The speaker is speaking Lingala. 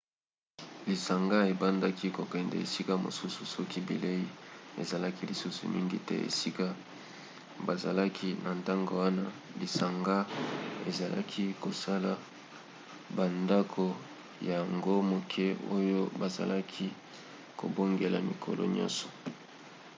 lisanga ebandaki kokende esika mosusu soki bilei ezalaki lisusu mingi te esika bazalaki. na ntango wana lisanga ezalaki kosala bandako ya ango moke oyo bazalaki kobongola mikolo nyonso